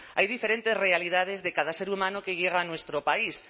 hay diferentes realidades de cada ser humano que llega a nuestro país